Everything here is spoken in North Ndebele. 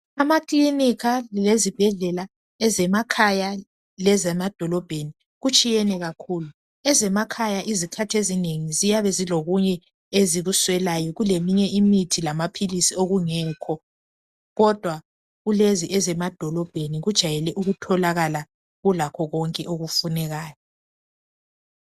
Amaklika lezibhedlela ezemakhaya lezemadolobheni kutshiyene kakhulu. Ezemakhaya ezikhathi ezinengi ziyabe zilokunye ezikuswelayo. Kuleminye imithi lamaphilisi okungekho. Kodwa kulezi ezemadolobheni kujayele ukutholakala kulakho konke okufunekayo.